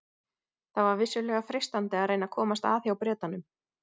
Það var vissulega freistandi að reyna að komast að hjá Bretanum.